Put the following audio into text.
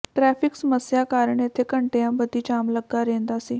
traffic ਸਮੱਸਿਆ ਕਾਰਨ ਇਥੇ ਘੰਟਿਆਂ ਬੱਧੀ ਜਾਮ ਲੱਗਾ ਰਹਿੰਦਾ ਸੀ